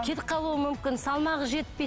кетіп қалуы мүмкін салмағы жетпейді